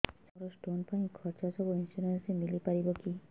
ସାର ମୋର ସ୍ଟୋନ ପାଇଁ ଖର୍ଚ୍ଚ ସବୁ ଇନ୍ସୁରେନ୍ସ ରେ ମିଳି ପାରିବ କି